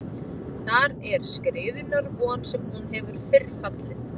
Þar er skriðunnar von sem hún hefur fyrr fallið.